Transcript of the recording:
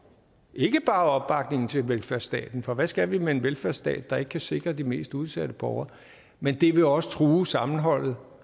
ikke bare opbakningen til velfærdsstaten for hvad skal vi med en velfærdsstat der ikke kan sikre de mest udsatte borgere men det vil også true sammenholdet